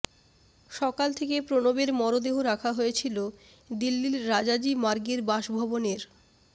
সকাল থেকে প্রণবের মরদেহ রাখা হয়েছিল দিল্লির রাজাজি মার্গের বাসভবনের